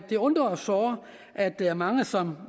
det undrer os såre at der er mange som